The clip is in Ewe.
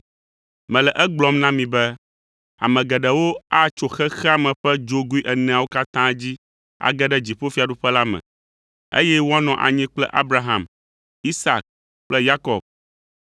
Mele egblɔm na mi be, ame geɖewo atso xexea me ƒe dzogoe eneawo katã dzi age ɖe dziƒofiaɖuƒe la me, eye woanɔ anyi kple Abraham, Isak kple Yakob.